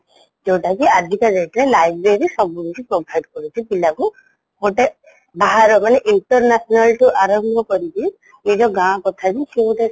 ଯୋଉଟାକି ଆଜିକା date ରେ library ସବୁକିଛି provide କରୁଛି ପିଲାକୁ ଗୋଟେ ବାହାର ମାନେ international ଠୁ ଆରମ୍ଭ କରିକି ଏଇ ଯୋଉ ଗାଁ କଥାବି ସିଏ ବୋଧେ